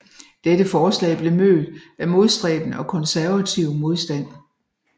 Dette forslag blev mødt af modstræbende og konservativ modstand